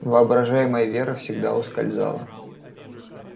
воображаемая вера всегда ускользала